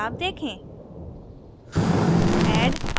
बदलाव देखें